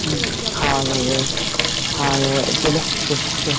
মাসি বাড়ি যাবো যাবো যখন মাসি বাড়ি যাবো একদিন